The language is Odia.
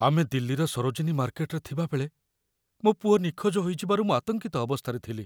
ଆମେ ଦିଲ୍ଲୀର ସରୋଜିନୀ ମାର୍କେଟରେ ଥିବାବେଳେ, ମୋ ପୁଅ ନିଖୋଜ ହୋଇଯିବାରୁ ମୁଁ ଆତଙ୍କିତ ଅବସ୍ଥାରେ ଥିଲି।